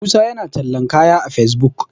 musa yana tallan kaya a fesbuk